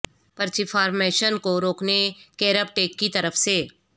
پرچیپفار machine کو روکنے کیرب ٹیک کی طرف سے